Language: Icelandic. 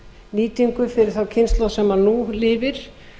nýtingu fyrir þá kynslóð sem nú lifir